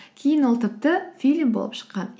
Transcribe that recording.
кейін ол тіпті фильм болып шыққан